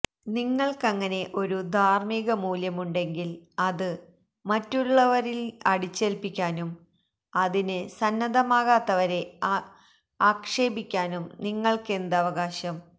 നിങ്ങള്ക്കങ്ങനെ ഒരു ധാര്മികമൂല്യമുണ്ടെങ്കില് അത് മറ്റുള്ളവരില് അടിച്ചേല്പ്പിക്കാനും അതിന് സന്നദ്ധമാകാത്തവരെ അക്ഷേപിക്കാനും നിങ്ങള്ക്കെന്ത് അവകാശം